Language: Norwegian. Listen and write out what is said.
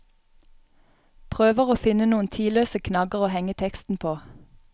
Prøver å finne noen tidløse knagger å henge teksten på.